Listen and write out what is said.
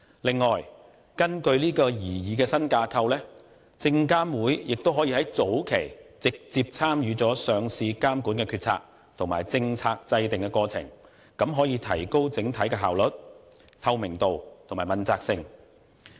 此外，根據擬議的新架構，證監會亦可以在早期直接參與上市監管的決策，以及政策制訂的過程，提高整體的效率、透明度和問責性。